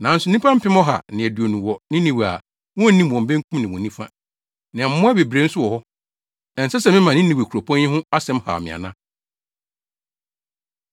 Nanso nnipa mpem ɔha ne aduonu wɔ Ninewe a wonnim wɔn benkum ne wɔn nifa. Na mmoa bebree nso wɔ hɔ. Ɛnsɛ sɛ mema Ninewe kuropɔn yi ho asɛm haw me ana?”